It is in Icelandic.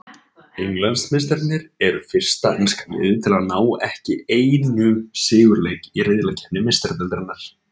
Englandsmeistararnir eru fyrsta enska liðið til að ná ekki einu sigurleik í riðlakeppni Meistaradeildarinnar.